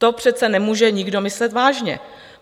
To přece nemůže nikdo myslet vážně.